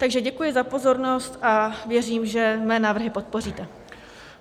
Takže děkuji za pozornost a věřím, že mé návrhy podpoříte.